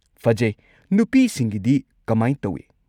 ꯐꯖꯩ꯫ ꯅꯨꯄꯤꯁꯤꯡꯒꯤꯗꯤ ꯀꯃꯥꯏ ꯇꯧꯏ?